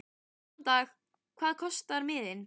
Góðan dag. Hvað kostar miðinn?